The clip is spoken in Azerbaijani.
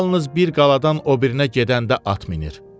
Yalnız bir qaladan o birinə gedəndə at minir.